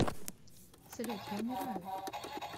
салют я умираю